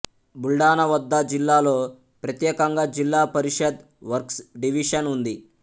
బుల్డానా వద్ద జిల్లాలో ప్రత్యేకంగా జిల్లా పరిషద్ వర్క్స్ డివిషన్ ఉంది